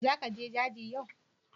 Za ka je daji yau?